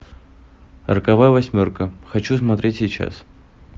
роковая восьмерка хочу смотреть сейчас